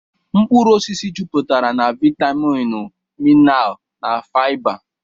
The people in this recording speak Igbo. Mkpụrụ osisi juputere na vitaminu, minarl na fiba.